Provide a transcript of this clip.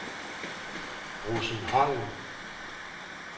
Rosenholm